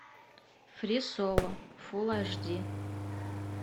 фри соло фул аш ди